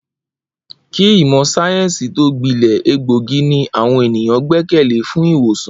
Kí ìmò̩ sáyé̩ǹsì tó gbile̩, egbòogi ni àwo̩n ènìyàn gbé̩kè̩lé fún ì̀wòsàn